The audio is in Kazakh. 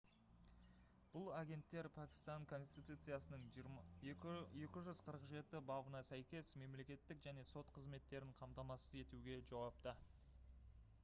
бұл агенттер пәкістан конституциясының 247-бабына сәйкес мемлекеттік және сот қызметтерін қамтамасыз етуге жауапты